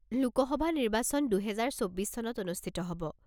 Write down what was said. লোক সভা নিৰ্বাচন দুহেজাৰ চৌব্বিছ চনত অনুষ্ঠিত হ'ব।